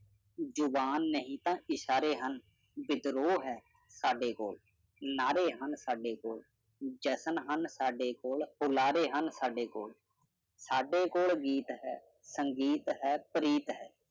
ਜੁਬਾਨ ਨਹੀਂ ਤਾਂ ਇਸ਼ਾਰੇ ਹਨ, ਵਿਦਰੋਹ ਹੈ ਸਾਡੇ ਕੋਲ, ਨਾਰੇ ਹਨ ਸਾਡੇ ਕੋਲ, ਜਸ਼ਨ ਹਨ ਸਾਡੇ ਕੋਲ, ਪੁੁਲਾੜੇ ਹਨ ਸਾਡੇ ਕੋਲ ਸਾਡੇ ਕੋਲ ਗੀਤ ਹੈ, ਸੰਗੀਤ ਹੈ ਪ੍ਰੀਤ ਹੈ।